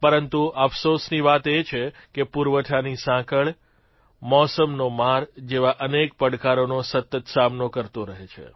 પરંતુ અફસોસની વાત એ છે કે પુરવઠાની સાંકળ મોસમનો માર જેવાં અનેક પડકારોનો સતત સામનો કરતો રહે છે